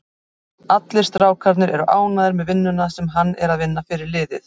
Allir strákarnir eru ánægður með vinnuna sem hann er að vinna fyrir liðið.